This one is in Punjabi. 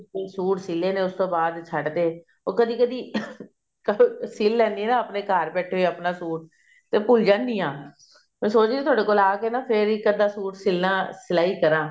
ਸੂਟ ਸੀ ਲੈਣੇ ਉਸ ਤੋਂ ਬਾਅਦ ਛੱਡ ਤੇ ਉਹ ਕਦੀ ਕਦੀ ing ਕਦੀ ਕਦੀ ਸਿਲ ਲੈਣੀ ਹਾਂ ਆਪਣੇ ਘਰ ਬੈਠੇ ਆਪਣਾ ਸੂਟ ਤੇ ਭੁੱਲ ਜਾਂਦੀ ਹਾਂ ਮੈਂ ਸੋਚ ਰਹੀ ਹਾਂ ਥੋੜੇ ਕੋਲ ਆ ਕੇ ਨਾ ਫ਼ੇਰ ਇੱਕ ਅੱਧਾ ਸੂਟ ਸਿਲਾ ਸਲਾਈ ਕਰਾਂ